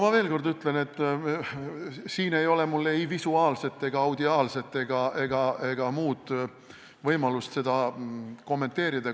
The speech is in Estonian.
Ma veel kord ütlen, et mul ei ole olnud visuaalset ega audiaalset ega mingit muud võimalust seda kontrollida.